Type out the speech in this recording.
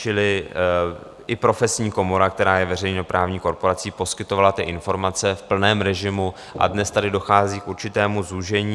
Čili i profesní komora, která je veřejnoprávní korporací, poskytovala ty informace v plném režimu a dnes tady dochází k určitému zúžení.